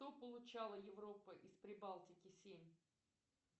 что получала европа из прибалтики семь